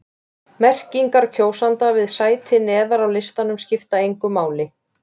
Merkingar kjósenda við sæti neðar á listanum skipta engu máli.